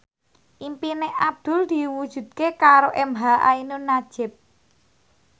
impine Abdul diwujudke karo emha ainun nadjib